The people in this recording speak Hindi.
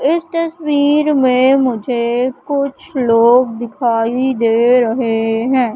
इस तस्वीर में मुझे कुछ लोग दिखाई दे रहे हैं।